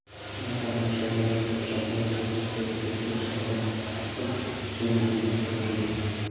байсал мен пұшарбайлар құлыншақты оңашада құпияда көптен шырғалап тартып жігін босастырып жүрген